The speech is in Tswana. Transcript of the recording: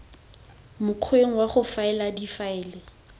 mokgweng wa go faela difaele